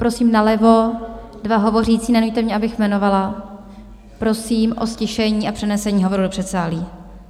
Prosím nalevo dva hovořící, nenuťte mě, abych jmenovala, prosím o ztišení a přenesení hovoru do předsálí.